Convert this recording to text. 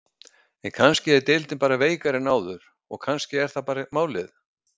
En kannski er deildin bara veikari en áður og kannski er það bara málið?